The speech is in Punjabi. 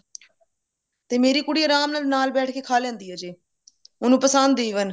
ਤੇ ਮੇਰੀ ਕੁੜੀ ਆਰਾਮ ਨਾਲ ਨਾਲ ਬੈਠ ਕੇ ਖਾ ਲੈਂਦੀ ਹੈ ਚੀਜ ਉਹਨੂੰ ਪਸੰਦ even